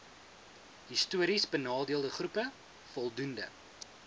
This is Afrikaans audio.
histories benadeeldegroepe voldoende